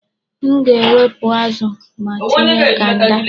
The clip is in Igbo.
M ga-ewepụ azụ ma tinye kanda.